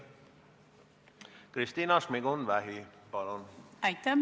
Kristina Šmigun-Vähi, palun!